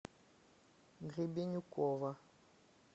гребенюкова